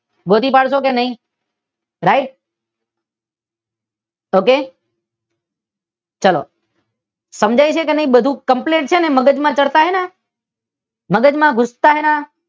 ગોતી પાડશો કે નહી? રાઇટ? ઓકે? ચલો સમજાય છે કે નહી બધુ કંપ્લેટ છે ને મગજ માં ચડતા હે ના મગજ માં ઘૂસતા હે ના?